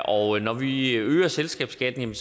og når vi øger selskabsskatten